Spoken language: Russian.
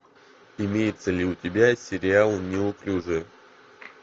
имеется ли у тебя сериал неуклюжая